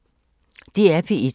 DR P1